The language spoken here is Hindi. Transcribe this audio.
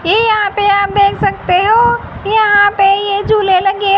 ये यहां पे आप देख सकते हो यहां पे ये झूले लगे--